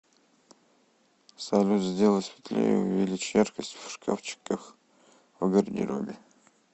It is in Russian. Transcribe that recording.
салют сделай светлее увеличь яркость в шкафчиках в гардеробе